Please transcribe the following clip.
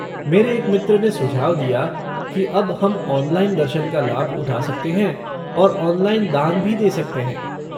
मेरे एक मित्र ने सुझाव दिया कि अब हम ऑनलाइन दर्शन का लाभ उठा सकते हैं और ऑनलाइन दान भी दे सकते हैं।